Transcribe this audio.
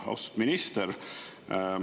Austatud minister!